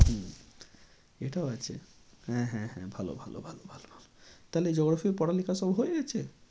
হম এটাও আছে হ্যাঁ হ্যাঁ হ্যাঁ ভালো ভালো ভালো ভালো তাহলে geography পড়ালেখা সব হয়ে গেছে?